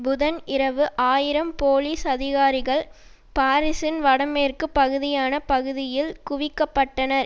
புதன் இரவு ஆயிரம் போலீஸ் அதிகாரிகள் பாரிசின் வடமேற்கு பகுதியான பகுதியில் குவிக்க பட்டனர்